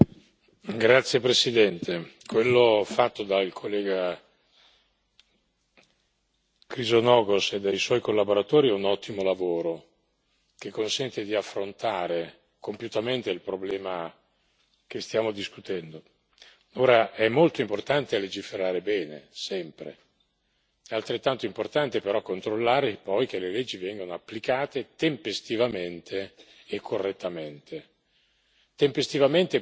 Signor Presidente, onorevoli colleghi, quello fatto dal collega Chrysogonos e dai suoi collaboratori è un ottimo lavoro, che consente di affrontare compiutamente il problema che stiamo discutendo. Ora è molto importante legiferare bene, sempre. È altrettanto importante però controllare poi che le leggi vengano applicate tempestivamente